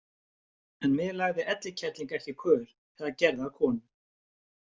En mig lagði Elli kerling ekki í kör eða gerði að konu.